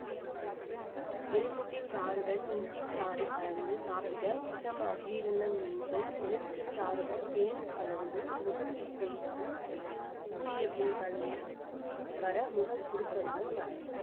எலுமிச்சை சாறுடன் இஞ்சி சாறு கலந்து சாப்பிட பித்தம் அஜீரணம் நீங்கும் எலுமிச்சை சாறுடன் தேன் கலந்து முகத்தில் தேய்த்து ஊறிய பின் கழுவி வர முகம் சுருக்கங்கள் மறையும்